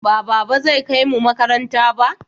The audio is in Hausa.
Ba baba zai kaimu makaranta ba?